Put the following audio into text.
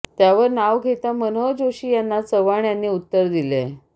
त्यावर नाव घेता मनोहर जोशी यांना चव्हाण यांनी उत्तर दिलेय